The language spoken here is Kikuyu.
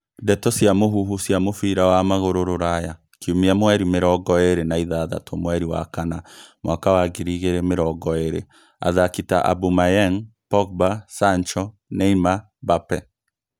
Ndeto cia mũhuhu cia mũbira wa magũrũ Rũraya kiumia mweri mĩrongo ĩrĩ na ithathatũ mweri wa kana mwaka wa ngiri igĩrĩ mĩrongo ĩrĩ athaki ta Aubameyang, Pogba, Sancho, Neymar, Mbappe